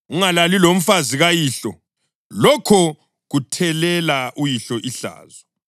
Ungalali lomfazi kayihlo; lokho kuthelela uyihlo ihlazo.